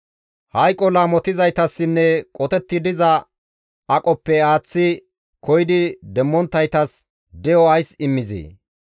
Hayqo laamotizaytassinne qotetti diza aqoppe aaththi koyidi demmonttaytas de7o ays immizee?